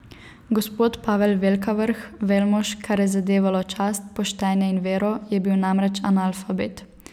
Gospod Pavel Velkavrh, velmož, kar je zadevalo čast, poštenje in vero, je bil namreč analfabet.